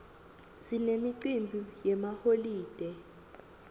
sinemicimbi yemaholide